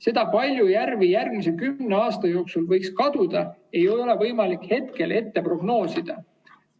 Seda, kui palju järvi järgmise kümne aasta jooksul võiks kaduda, ei ole võimalik hetkel prognoosida.